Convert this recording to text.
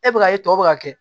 E bɛ ka ye tɔ bɛ ka kɛ